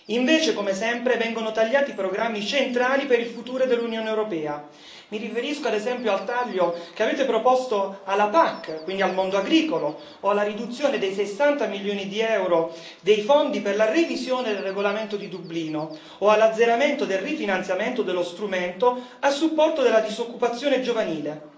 Invece, come sempre, vengono tagliati programmi centrali per il futuro dell'Unione europea mi riferisco ad esempio al taglio che avete proposto alla PAC, quindi al mondo agricolo, o alla riduzione dei 60 milioni di euro dei fondi per la revisione del regolamento di Dublino o all'azzeramento del rifinanziamento dello strumento a supporto della disoccupazione giovanile.